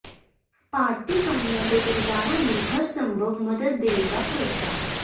ਭਾਰਤੀ ਕਾਮਿਆਂ ਦੇ ਪਰਿਵਾਰਾਂ ਨੂੰ ਹਰ ਸੰਭਵ ਮਦਦ ਦੇਣ ਦਾ ਭਰੋਸਾ